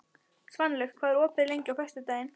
Svanlaug, hvað er opið lengi á föstudaginn?